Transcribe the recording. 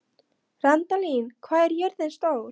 Randalín, hvað er jörðin stór?